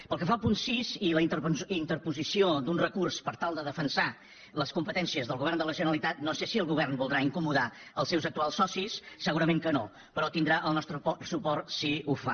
pel que fa al punt sis i la interposició d’un recurs per tal de defensar les competències del govern de la generalitat no sé si el govern voldrà incomodar els seus actuals socis segurament que no però tindrà el nostre suport si ho fa